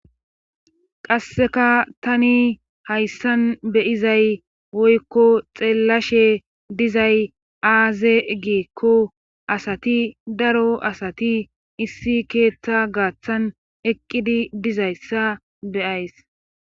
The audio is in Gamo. Qasseka tani hayssan beyizay woykko xeellashe dizay aaze geekko asati daro asati issi keeththa gaaththan eqqidi dizayssa beyays.